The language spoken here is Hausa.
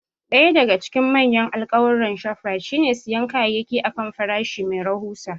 Ɗaya daga cikin manyan alkawuran Shoprite shine siyan kayayyaki a kan farashi mai rahusa.